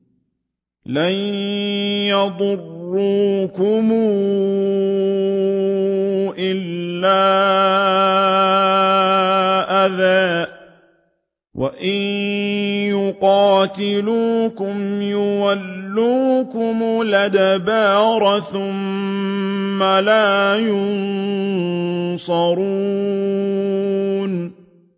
لَن يَضُرُّوكُمْ إِلَّا أَذًى ۖ وَإِن يُقَاتِلُوكُمْ يُوَلُّوكُمُ الْأَدْبَارَ ثُمَّ لَا يُنصَرُونَ